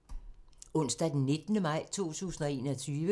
Onsdag d. 19. maj 2021